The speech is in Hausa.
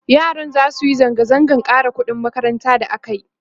yaran zasu Yi zanga zangan ƙara ƙuɗin makaranta da akayi